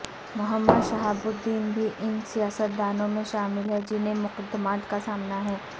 محمد Shahabuddin بھی ان سیاستدانوں میں شامل ہیں جنہیں مقدمات کا سامنا ہے